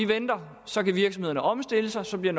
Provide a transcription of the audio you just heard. venter så virksomhederne kan omstille sig og så bliver